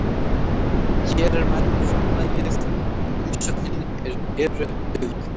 Hér er menn frumlagið en umsögnin er eru dauðlegir.